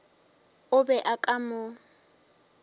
o be o ka mo